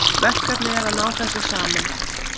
Verkefnið er að ná þessu saman